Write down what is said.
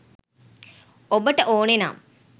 ඔබට ඕනෙ නම්